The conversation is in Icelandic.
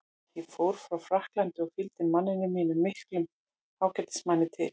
Ég fór frá Frakklandi og fylgdi manninum mínum, miklum ágætismanni, til